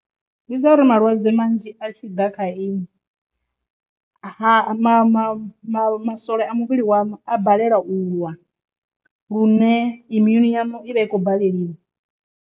Ndi dza uri malwadze manzhi a tshi ḓa kha iṅwi ha ma ma ma masole a muvhili wanu a balelwa u lwa lune immune yanu i vha i khou baleliwa.